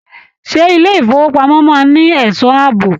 Ṣé ilé ifowopamọ máa n ní ẹsọ́ ààbò?